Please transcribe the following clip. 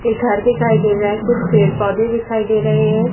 से घर दिखाई दे रहा है। कुछ पेड़ पौधे दिखाई दे रहे हैं।